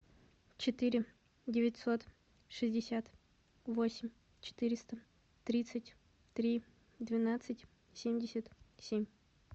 четыре девятьсот шестьдесят восемь четыреста тридцать три двенадцать семьдесят семь